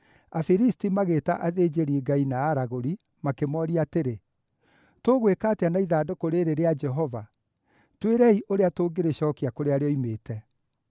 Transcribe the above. Afilisti magĩĩta athĩnjĩri-ngai na aragũri, makĩmooria atĩrĩ, “Tũgwĩka atĩa na ithandũkũ rĩĩrĩ rĩa Jehova? Twĩrei ũrĩa tũngĩrĩcookia kũrĩa rĩoimĩte.”